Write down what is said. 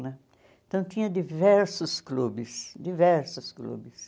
Né? Então tinha diversos clubes, diversos clubes.